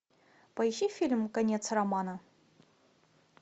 поищи фильм конец романа